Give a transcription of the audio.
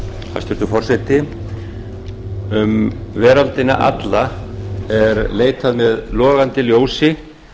hæstvirtur forseti um veröldina alla er leitað með logandi ljósi